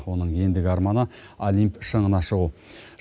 оның ендігі арманы олимп шыңына шығу